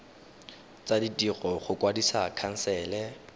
tsa ditiro go kwadisa khansele